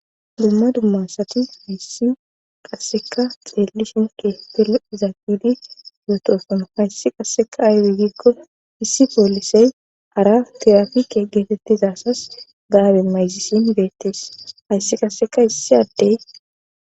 Dumma dummasati hayssi qasseka xeellishenke pele izaagidi fotofono hayssi qasseka ayde giikko issi poolisey hara tirafike geetettizasas gaabe mayzisin beettees hayssi qasseka issi addey